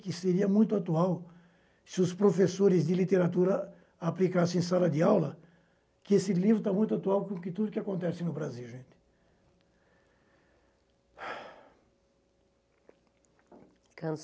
que seria muito atual, se os professores de literatura aplicassem em sala de aula, que esse livro está muito atual com que tudo o que acontece no Brasil, gente.